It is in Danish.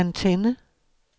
antenne